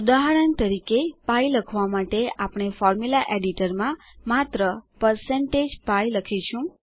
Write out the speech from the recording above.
ઉદાહરણ તરીકે પાઇ લખવા માટે આપણે ફોર્મ્યુલા એડિટરમાં માત્ર160pi લખીશું